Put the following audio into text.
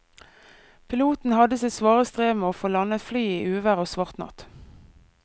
Piloten hadde sitt svare strev med å få landet flyet i uvær og svart natt.